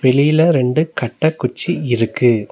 வெளியில ரெண்டு கட்ட குச்சி இருக்கு.